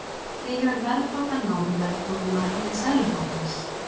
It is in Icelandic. Því hefur verðbólgan náð verðbólgumarkmiði Seðlabankans